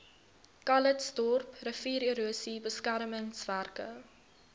calitzdorp riviererosie beskermingswerke